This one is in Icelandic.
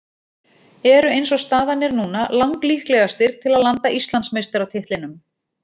Eru eins og staðan er núna lang líklegastir til að landa Íslandsmeistaratitlinum.